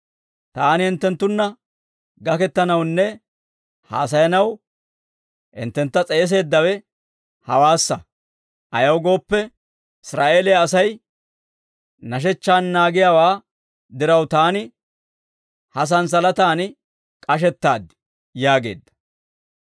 Taani hinttenttunna gakettanawunne haasayanaw hinttentta s'eeseeddawe hewaassa; ayaw gooppe, Israa'eeliyaa Asay nashechchaan naagiyaawaa diraw taani ha santsalataan k'ashettaad» yaageedda.